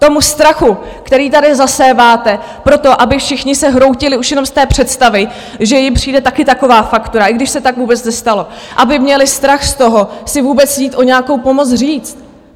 Tomu strachu, který tady zaséváte proto, aby všichni se hroutili už jenom z té představy, že jim přijde taky taková faktura, i když se tak vůbec nestalo, aby měli strach z toho si vůbec jít o nějakou pomoc říct.